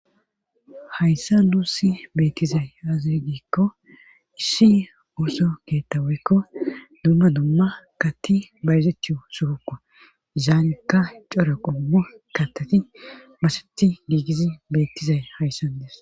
Hayssa nuussi beettizay azir diikko issi ooso keettaweykko dumma dumma katti bayzethiyo suruka zaanekka cora qobmu katteti maseti diigizi beettizay hayssan dees.